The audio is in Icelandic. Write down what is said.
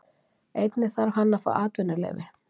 Einnig þarf hann að fá atvinnuleyfi.